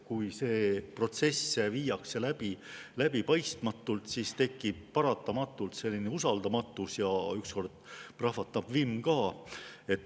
Kui see protsess viiakse läbi läbipaistmatult, siis tekib paratamatult usaldamatus ja ükskord prahvatab vimm ka.